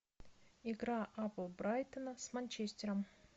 игра апл брайтона с манчестером